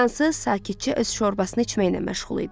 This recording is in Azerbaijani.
Fransız sakitcə öz şorbasını içməynən məşğul idi.